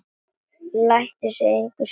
Lætur sig það engu skipta.